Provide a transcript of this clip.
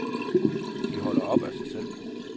De holder op af sig selv.